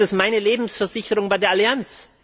Ist es meine Lebensversicherung bei der Allianz?